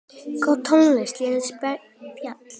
Góð tónlist og létt spjall.